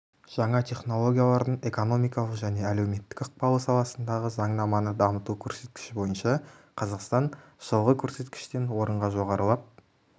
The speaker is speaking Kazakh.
жаңа технологиялардың экономикалық және әлеуметтік ықпалы саласындағы заңнаманы дамыту көрсеткіші бойынша қазақстан жылғы көрсеткіштен орынға жоғарылап